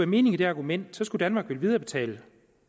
mening i det argument skulle danmark vel viderebetale